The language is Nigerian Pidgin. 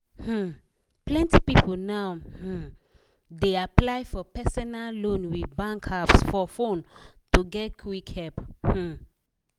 um plenty people now um dey apply for personal loan with bank apps for fone to get quick help um